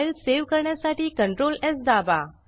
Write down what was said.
file save करण्यासाठी ctrls दाबा